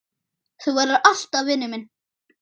Þú verður alltaf vinur minn.